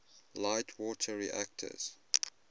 light water reactors